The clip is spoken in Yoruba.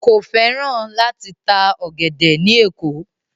Kò fẹ́ràn láti ta ọ̀gẹ̀dẹ̀ ní Èkó.